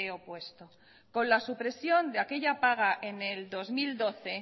opuesto con la supresión de aquella paga en el dos mil doce